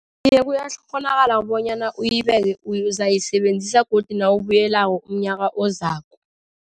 Iye, kuyakghonakala bonyana uyibeke uzayisebenzisa godu nawubuyelako umnyaka ozako.